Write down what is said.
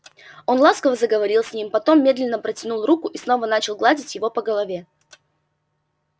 он ласково заговорил с ним потом медленно протянул руку и снова начал гладить его по голове